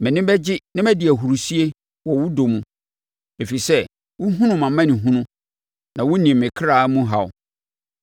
Mʼani bɛgye na madi ahurisie wɔ wo dɔ mu, ɛfiri sɛ wohunu mʼamanehunu na wonim me kra mu haw.